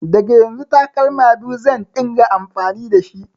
Daga yanzu takalma biyu zan ɗinga amfani dashi